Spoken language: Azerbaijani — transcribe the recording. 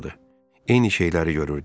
Eyni şeyləri görürdü.